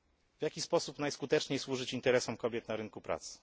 W jaki sposób najskuteczniej służyć interesom kobiet na rynku pracy?